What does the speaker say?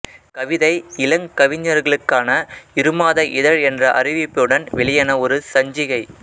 கவிதை இளங்கவிஞர்களுக்கான இருமாத இதழ் என்ற அறிவிப்புடன் வெளியான ஒரு சஞ்சிகை